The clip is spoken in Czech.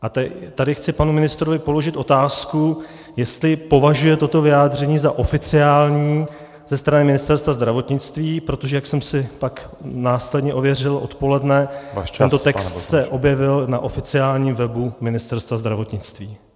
A tady chci panu ministrovi položit otázku, jestli považuje toto vyjádření za oficiální ze strany Ministerstva zdravotnictví, protože jak jsem si pak následně ověřil odpoledne , tento text se objevil na oficiálním webu Ministerstva zdravotnictví.